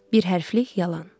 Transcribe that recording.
Bir hərflik yalan.